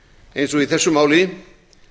eins og í þessu máli